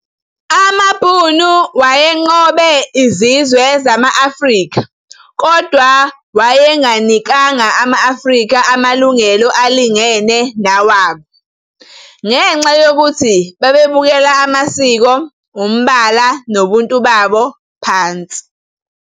Amabhunu wayenqobe izizwe zama-Afrika kodwa wayenganikanga ama-Afrika amalungelo alingene newabo ngenxa yokuthi bebabukela amasiko, ubala nobuntu babo phansi.